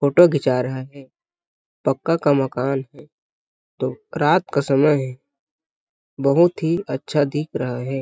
Photo घिचा रहा है पक्का का मकान है तो रात का समय है बहुत ही अच्छा दिख रहा है।